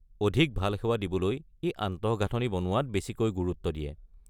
অধিক ভাল সেৱা দিবলৈ ই আন্তঃগাঁথনি বনোৱাত বেছিকৈ গুৰুত্ব দিয়ে।